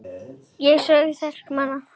Þá sögu þekkja margir.